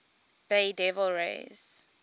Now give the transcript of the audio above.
bay devil rays